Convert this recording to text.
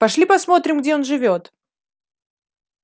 пошли посмотрим где он живёт